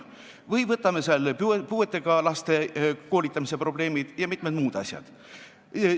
Või võtame puuetega laste koolitamise probleemid ja mitmed muud asjad.